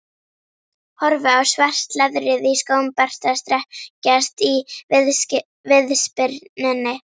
Horfi á svart leðrið í skóm Berta strekkjast í viðspyrnunni.